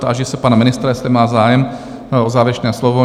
Táži se pana ministra, jestli má zájem o závěrečné slovo?